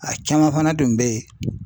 A caman fana tun be ye